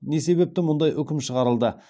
не себепті мұндай үкім шығарылды